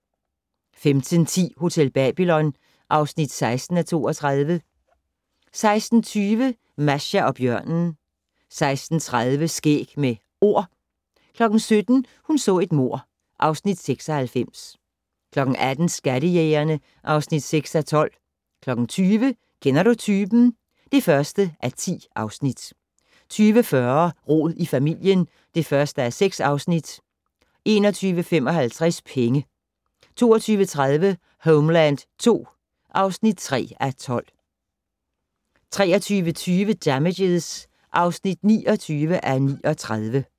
15:10: Hotel Babylon (16:32) 16:20: Masha og bjørnen 16:30: Skæg med Ord 17:00: Hun så et mord (Afs. 96) 18:00: Skattejægerne (6:12) 20:00: Kender du typen? (1:10) 20:40: Rod i familien (1:6) 21:55: Penge 22:30: Homeland II (3:12) 23:20: Damages (29:39)